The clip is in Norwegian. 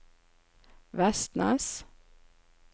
Vestnes